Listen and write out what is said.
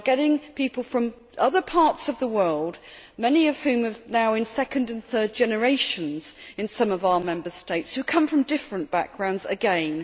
We are getting people from other parts of the world many of whom are now in second and third generations in some of our Member States who come from different backgrounds again.